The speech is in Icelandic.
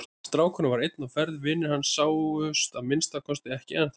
Strákurinn var einn á ferð, vinir hans sáust að minnsta kosti ekki ennþá.